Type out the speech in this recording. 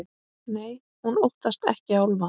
Nei, hún óttast ekki álfa.